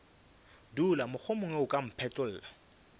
dula mohlomongwe o ka mphetlolla